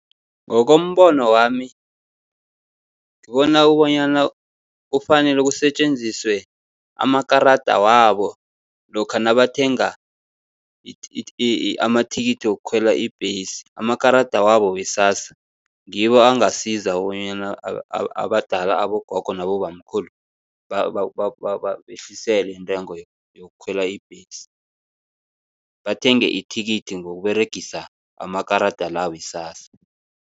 Ngokombono wami ngibona bonyana kufanele kusetjenziswe amakarada wabo, lokha nabathenga amathikithi wokukhwela ibhesi. Amakarada wabo we-SASSA ngibo angasiza bonyana abadala, abogogo nabobamkhulu babehlisele intengo yokukhwela ibhesi, bathenge ithikithi ngokUberegisa amakarada la we-SASSA.